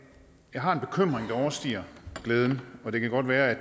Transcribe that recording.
jeg har en bekymring der overstiger glæden og det kan godt være